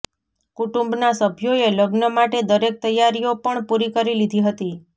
કુટુંબના સભ્યોએ લગ્ન માટે દરેક તૈયારીઓ પણ પૂરી કરી લીધી હતી